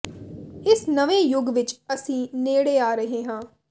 ਇਸ ਨਵੇਂ ਯੁੱਗ ਵਿਚ ਅਸੀਂ ਨੇੜੇ ਆ ਰਹੇ ਹਾਂ